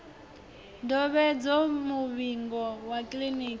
ndovhedzo muvhigo wa kiḽiniki wa